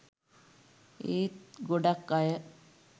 ඒත් ගොඩක් අය